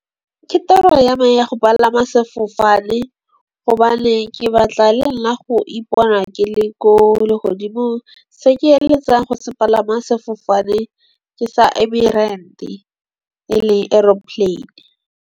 Ke toro ya me ya go palama sefofane gobane ke batla le nna go ipona ke le ko legodimong. Se ke eletsang go se palama sefofane, ke sa e le aeroplane.